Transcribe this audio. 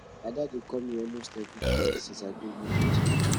ada dey call me for phone almost every day since i go village